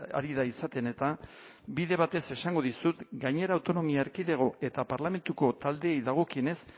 ari da izaten eta bide batez esango dizut gainera autonomia erkidego eta parlamentuko taldeei dagokienez